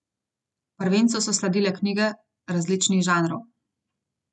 Prvencu so sledile knjige različnih žanrov.